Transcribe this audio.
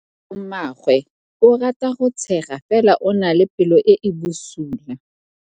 Malomagwe o rata go tshega fela o na le pelo e e bosula.